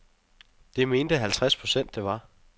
Det mente halvtreds procent det var.